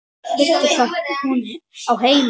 Veistu hvar hún á heima?